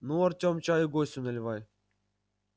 ну артем чаю гостю наливай